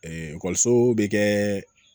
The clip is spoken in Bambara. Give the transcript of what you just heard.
ekɔliso bɛ kɛ